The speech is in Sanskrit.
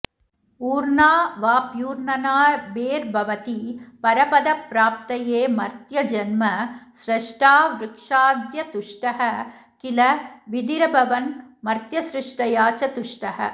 ऊर्णावाप्यूर्णनाभेर्भवति परपदप्राप्तये मर्त्यजन्म स्रष्टा वृक्षाद्यतुष्टः किल विधिरभवन्मर्त्यसृष्ट्या च तुष्टः